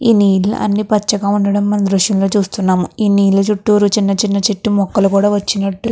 ఇది అన్ని పచ్చగా ఉండడం మన దృశ్యం లో చూస్తున్నాం. నీళ్లు చుట్టూరు చిన్న చిన్న చెట్టు ముక్కలు కూడా వచ్చినట్లు --